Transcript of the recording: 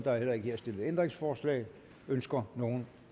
er ikke stillet ændringsforslag ønsker nogen